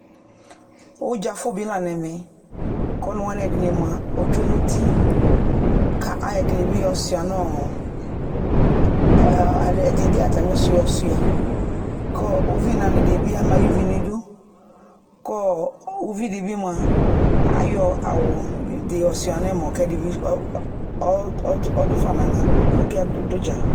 Ʋdza fʋ bɩ la n'ɛmɛ k'ɔnʋwanɩ ɛdɩnɩ mʋa ostue n'uti ka ayɔ ɛdɩnɩ bɩ yɔ siua nʋʋ, ɛdɩnɩ bɩ ayɔ atsmɩsʋ yɔ siua kʋ uvinanɩdɩ bɩ ama sy'uvi n'idu kɔɔ uvidɩ bɩ mʋa ayɔ awʋdɩ yɔ siua n'ɛmɔ k'ɛdɩ bɩ ɔd ɔdʋ fa n'aɣla k'ɔka dzʋ ʋdza